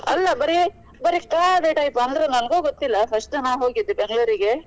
ಅಲ್ಲ ಬರಿ ಬರಿ ಕಾಡು type ಅಂದ್ರೆ ನನಗು ಗೊತ್ತಿಲ್ಲ first time ಹೋಗಿದ್ Bangalore ಗೆ.